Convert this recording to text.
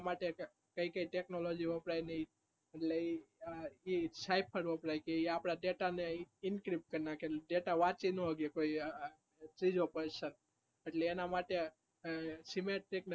કઈ કઈ technology વપરાય આપણા data ને increase કરે data વાંચી ના સકે મુસ્કિલ છે એટલે એના માટે